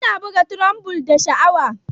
Yana buga trombon da sha'awa.